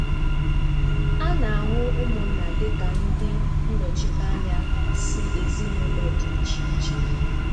A na-ahụ ụmụnna dịka ndị nnọchite anya si ezinaụlọ dị iche um iche